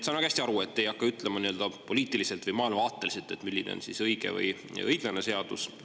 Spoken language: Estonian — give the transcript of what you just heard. Saan väga hästi aru, et te ei hakka ütlema nii-öelda poliitiliselt või maailmavaateliselt, milline on õige või õiglane seadus.